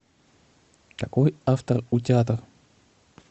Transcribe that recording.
какой автор у театр